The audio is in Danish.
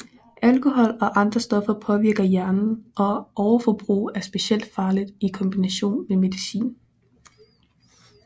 Alkohol og andre stoffer påvirker hjernen og overforbrug er specielt farligt i kombination med medicin